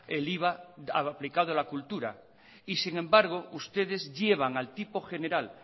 el iva aplicado en la cultura y sin embargo ustedes llevan al tipo general